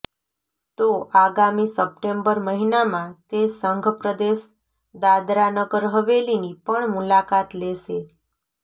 તો આગામી સપ્ટેમ્બર મહિનામાં તે સંઘપ્રદેશ દાદરાનગર હવેલીની પણ મુલાકાત લેશે